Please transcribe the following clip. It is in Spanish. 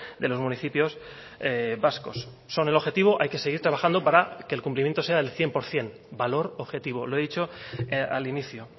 de los municipios vascos son el objetivo hay que seguir trabajando para que el cumplimiento sea el cien por ciento valor objetivo lo he dicho al inicio